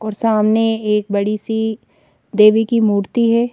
और सामने एक बड़ी सी देवी की मूर्ति है।